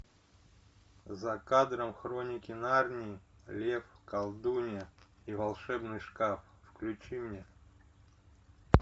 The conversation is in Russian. за кадром хроники нарнии лев колдунья и волшебный шкаф включи мне